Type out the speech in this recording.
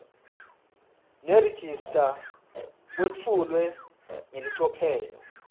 nerejista kwetfulwe ngelicophelo